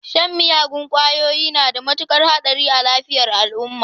Shan miyagun kwayoyi na da mutukar hadari ga lafiyar jiki.